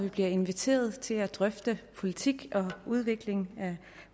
vi bliver inviteret til at drøfte politik og udvikling af